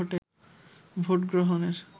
vote গ্রহণের